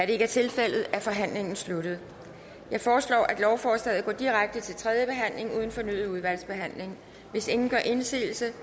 det ikke er tilfældet er forhandlingen sluttet jeg foreslår at lovforslaget går direkte til tredje behandling uden fornyet udvalgsbehandling hvis ingen gør indsigelse